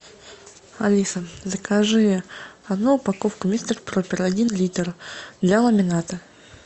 алиса закажи одну упаковку мистер пропер один литр для ламината